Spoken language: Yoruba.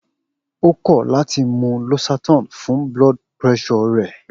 O kọ lati mu losertan fun BP rẹ.